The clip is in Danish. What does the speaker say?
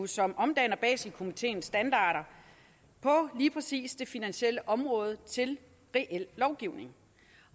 som omdanner baselkomiteens standarder på lige præcis det finansielle område til reel lovgivning